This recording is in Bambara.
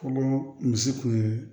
Fɔlɔ misi kun ye